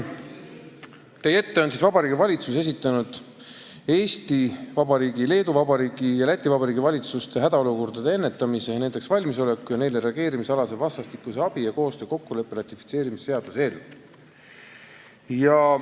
Teie ees on Vabariigi Valitsuse esitatud Eesti Vabariigi valitsuse, Leedu Vabariigi valitsuse ja Läti Vabariigi valitsuse hädaolukordade ennetamise, nendeks valmisoleku ja neile reageerimise alase vastastikuse abi ja koostöö kokkuleppe ratifitseerimise seaduse eelnõu.